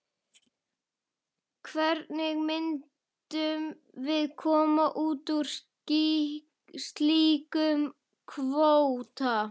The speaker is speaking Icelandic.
Hvernig myndum við koma út úr slíkum kvóta?